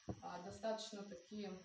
аа достаточно такие